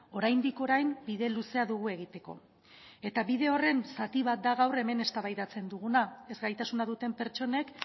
oraindik orain bide luzea dugu egiteko eta bide horren zati bat da gaur hemen eztabaidatzen duguna ezgaitasuna duten pertsonek